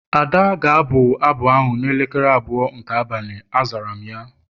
Ada ga-abụ abụ ahụ n'elekere abụọ nke abalị, azara m ya